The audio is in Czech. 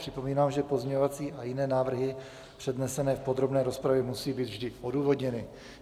Připomínám, že pozměňovací a jiné návrhy přednesené v podrobné rozpravě musí být vždy odůvodněny.